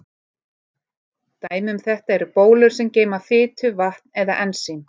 Dæmi um þetta eru bólur sem geyma fitu, vatn eða ensím.